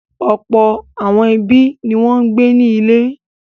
Ọ̀pọ̀ àwọn ẹbí ni wọ́n ń gbé nílé.